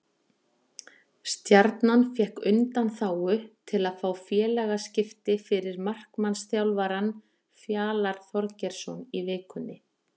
Stjarnan fékk undanþágu til að fá félagaskipti fyrir markmannsþjálfarann Fjalar Þorgeirsson í vikunni.